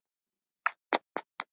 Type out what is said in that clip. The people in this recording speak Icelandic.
Hann byggir hótel.